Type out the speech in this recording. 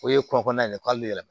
O ye kɔnkɔla ye k'ale yɛrɛ